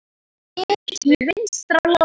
Bit í vinstri lófa.